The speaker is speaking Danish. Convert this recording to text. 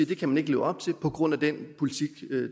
kan man ikke leve op til på grund af den politik